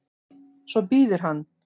Svo bíður hann.